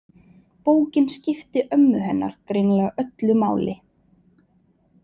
Bókin skipti ömmu hennar greinilega öllu máli.